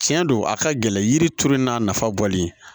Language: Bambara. Tiɲɛ don a ka gɛlɛ yiri turuli n'a nafa bɔlen